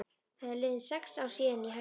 Það eru liðin sex ár síðan ég hætti.